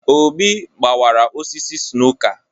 Obi gbawara osisi snooker